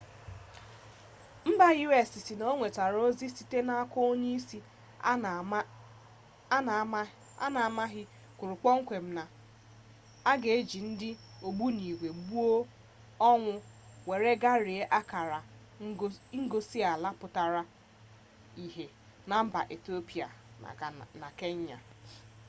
mba u.s sị na o nwetara ozi site n'aka onye ozi a na amaghị kwuru kpọmkwem na a ga eji ndị ogbunigwe gbuo onwe were gbarie akara ngosi ala pụtara ihe na mba etiopia na kenya